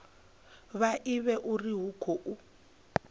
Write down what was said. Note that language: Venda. vha ivhe uri hu khou